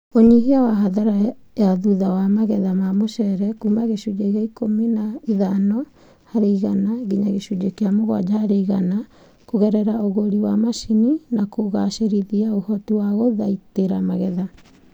Ũnyihia wa hathara ya thutha wa magetha ma mũcere kuuma gĩcunjĩ kĩa ikũmi na ithano harĩ igana nginya gĩcunjĩ kĩa mũgwanja harĩ igana kũgerera ũgũri wa macini na kũgacĩrithia ũhoti wa guthaitĩra magetha